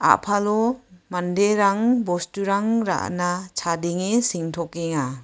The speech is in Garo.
apalo manderang bosturang ra·na chadenge sengtokenga.